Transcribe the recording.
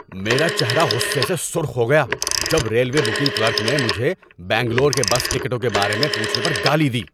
میرا چہرہ غصے سے سرخ ہو گیا جب ریلوے بکنگ کلرک نے مجھے بنگلور کے بس ٹکٹوں کے بارے میں پوچھنے پر گالی دی۔